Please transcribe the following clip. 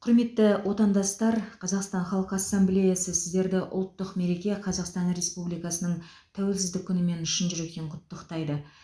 құрметті отандастар қазақстан халқы ассамблеясы сіздерді ұлттық мереке қазақстан республикасының тәуелсіздік күнімен шын жүректен құттықтайды